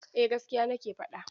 Eh gaskiya nake faɗa.